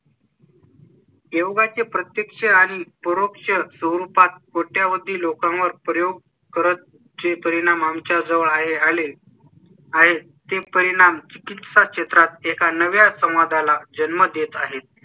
योगाचे प्रत्यक्ष आणि पुरुष स्वरूपात होती. लोकांवर प्रयोग करत चे परिणाम आमच्या जवळ आहे आले. आणि ते परिणाम चिकित्सा चित्रात एका नव्या समाजा ला जन्म देत आहेत